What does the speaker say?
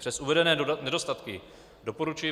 Přes uvedené nedostatky doporučuji